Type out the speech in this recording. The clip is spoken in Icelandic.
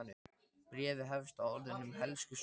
Bréfið hefst á orðunum Elsku Svenni!